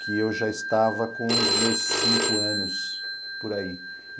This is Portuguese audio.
que eu já estava com os meus cinco anos, por aí.